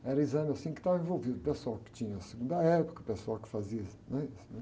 Era o exame, assim, que estava envolvido, o pessoal que tinha a segunda época, o pessoal que fazia, né? Isso.